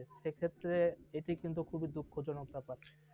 সেই ক্ষেত্রে এটি কিন্তু অনেক দুঃখজনক ব্যাপার ।